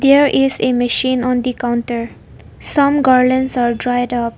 Here is a machine on the counter some garlands are dried off.